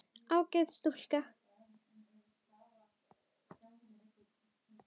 Ágæt stúlka.